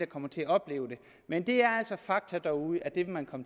kommer til at opleve det men det er altså fakta derude det vil man